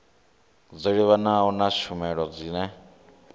dzo livhanaho na tshumelo dzine